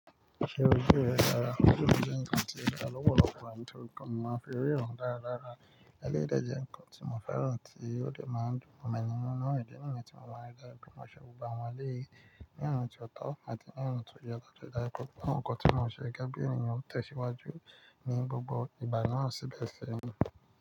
Ṣé ojú ẹ dára? Ojú mi jẹ́ ǹkan tí ó dára lọ́pọ̀lọpọ̀ nítorí pé mo máa n fi ríran dára dára. Eléyìí dẹ̀ jẹ́ ǹkan tí mo fẹ́ràn tí ó dẹ̀ máa n dùn mọ́ mi nínú ìdí nìyẹn tí mo máa ń rí dájú pé mo ṣe gbogbo àwọn eléyìí ní ọ̀nà tó ó tọ́ àti ní ọ̀nà tó yẹ tó dára. Ṣé ǹkan tí mo ṣe gẹ́gẹ́ bí ènìyàn tó ṣíwájú ní gbogbo ìgbà náà sì bẹ̀rẹ̀ sí ní.